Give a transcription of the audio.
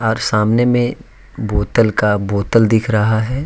और सामने में बोतल का बोतल दिख रहा है।